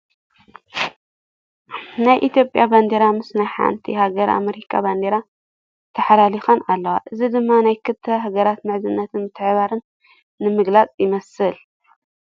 ናይ ኢ/ያ ባንዴራ ምስ ናይ ሓንቲ ሐገረ ኤመሪካ ባንዴራ ተሓላሊኸን ኣለዋ ፡ እዚ ድማ ናይ ክልተ ሃገራት ምሕዝነትን ምትሕብባርን ንምግላፅ ይመስል ።